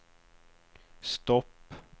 stopp